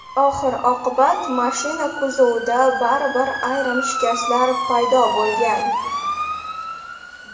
Oxir-oqibat mashina kuzovida baribir ayrim shikastlar paydo bo‘lgan.